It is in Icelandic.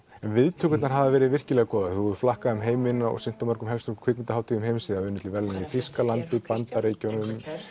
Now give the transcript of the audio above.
viðtökurnar hafa verið virkilega góðar þú hefur flakkað um heiminn og sýnt á helstu kvikmyndahátíðum heims og unnið til verðlauna í Þýskalandi Bandaríkjunum